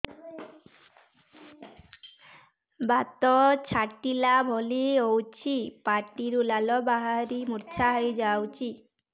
ବାତ ଛାଟିଲା ଭଳି ହଉଚି ପାଟିରୁ ଲାଳ ବାହାରି ମୁର୍ଚ୍ଛା ହେଇଯାଉଛି